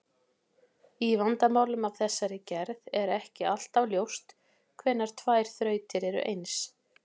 Í vandamálum af þessari gerð er ekki alltaf ljóst hvenær tvær þrautir eru eins.